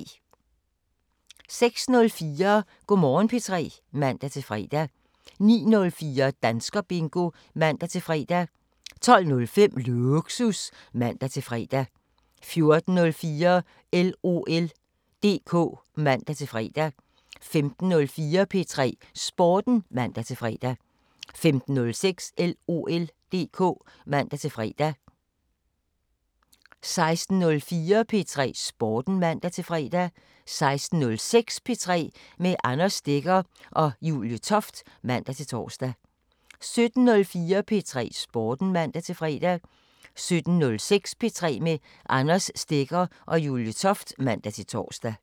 06:04: Go' Morgen P3 (man-fre) 09:04: Danskerbingo (man-fre) 12:05: Lågsus (man-fre) 14:04: LOL DK (man-fre) 15:04: P3 Sporten (man-fre) 15:06: LOL DK (man-fre) 16:04: P3 Sporten (man-fre) 16:06: P3 med Anders Stegger og Julie Toft (man-tor) 17:04: P3 Sporten (man-fre) 17:06: P3 med Anders Stegger og Julie Toft (man-tor)